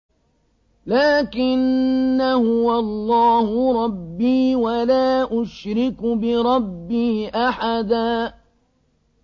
لَّٰكِنَّا هُوَ اللَّهُ رَبِّي وَلَا أُشْرِكُ بِرَبِّي أَحَدًا